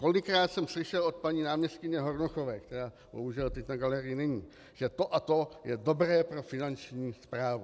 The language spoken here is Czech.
Kolikrát jsem slyšel od paní náměstkyně Hornochové, která bohužel teď na galerii není, že to a to je dobré pro Finanční správu.